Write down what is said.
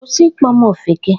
Kwụsị ịkpọ m Ofeke!